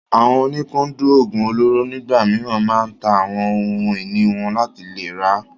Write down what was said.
Àwọn oníkúndùn oògùn olóró nígbà mìíràn máa ń ta àwọn ohun ìní wọn láti lè rà á.